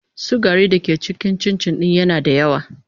sugari da ke cikin cincin din yana da yawa.